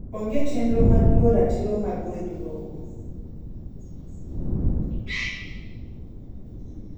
onge chenro mar luwo ratiro mar weg lowo